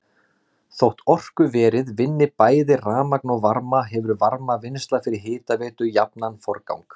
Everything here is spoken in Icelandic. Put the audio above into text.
Þótt orkuverið vinni bæði rafmagn og varma hefur varmavinnsla fyrir hitaveitu jafnan forgang.